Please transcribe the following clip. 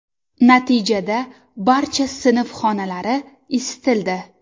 Natijada barcha sinf xonalari isitildi.